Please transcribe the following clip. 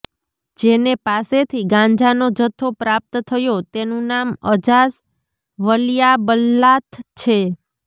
જેને પાસેથી ગાંજાનો જથ્થો પ્રાપ્ત થયો તેનું નામ અજાસ વલિયાબલ્લાથ છે